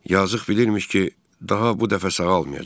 Yazıq bilirmiş ki, daha bu dəfə sağalmayacaq.